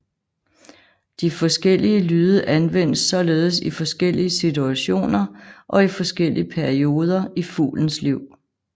De forskellige lyde anvendes således i forskellige situationer og i forskellige perioder i fuglens liv